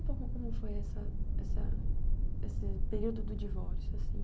como foi essa esse período do divórcio assim?